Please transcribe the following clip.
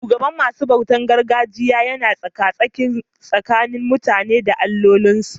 Shugaban masu bautar gargajiya yana tsaka-tsaki tsakanin mutane da allolinsu.